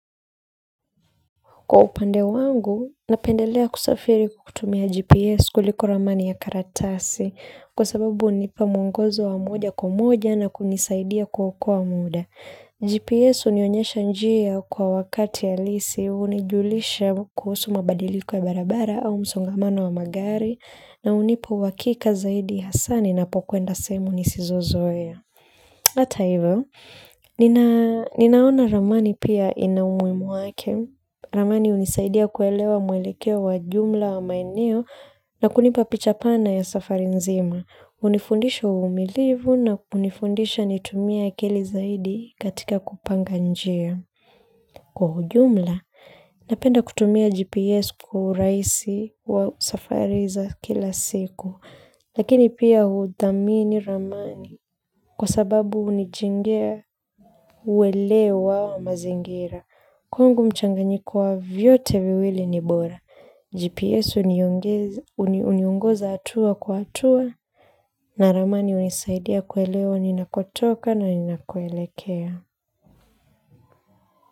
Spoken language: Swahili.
Kwa upande wangu, napendelea kusafiri kutumia GPS kuliko ramani ya karatasi kwa sababu hunipa mwongozo wa moja kwa moja na kunisaidia kuokoa muda. GPS hunionyesha njia kwa wakati halisi hunijulisha kuhusu mabadiliko ya barabara au msongamano wa magari na hunipa uhakika zaidi hasa ninapokwenda sehemu nisizozoea. Ata hivyo, ninaona ramani pia ina umuhimu wake. Ramani hunisaidia kuelewa mwelekeo wa jumla wa maeneo na kunipa pichapana ya safari nzima. Hunifundisha uvumilivu na kunifundisha nitumie akili zaidi katika kupanga njia. Kwa ujumla, napenda kutumia GPS kwa urahisi wa safari za kila siku. Lakini pia huthamini ramani kwa sababu hunijengea uelewa wa mazingira. Kwangu mchanganyiko wa vyote viwili ni bora. GPS uniungoza hatua kwa hatua na ramani hunisaidia kuelewa ninakotoka na ni nakoelekea.